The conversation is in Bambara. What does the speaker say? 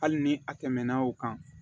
Hali ni a tɛmɛna o kan